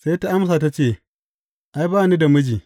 Sai ta amsa ta ce, Ai, ba ni da miji.